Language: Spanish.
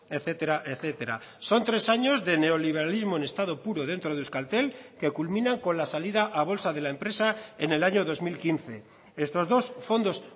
etcétera etcétera son tres años de neoliberalismo en estado puro dentro de euskaltel que culminan con la salida a bolsa de la empresa en el año dos mil quince estos dos fondos